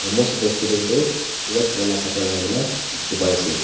most of the students toh white colour laka kapra lakaikaena dikhipaiase.